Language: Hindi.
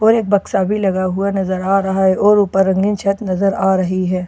और एक बक्सा बी लगा हुआ नजर आ रहा हैं और ऊपर छत नजर आ रही हैं --